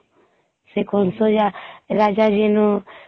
ସେ କଂସ ଯେ ରାଜା ଯେନ